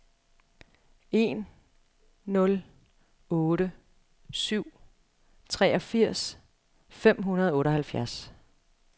en nul otte syv treogfirs fem hundrede og otteoghalvtreds